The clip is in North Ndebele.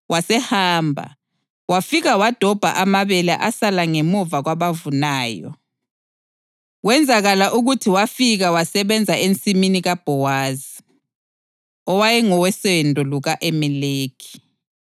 Wasehamba, wafika wadobha amabele asala ngemuva kwabavunayo. Kwenzakala ukuthi wafika wasebenza ensimini kaBhowazi, owayengowosendo luka-Elimeleki.